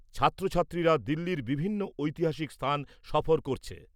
ছাত্রছাত্রীরা দিল্লির বিভিন্ন ঐতিহাসিক স্থান সফর করছে।